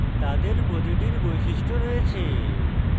তাদের প্রতিটির বৈশিষ্ট্য রয়েছে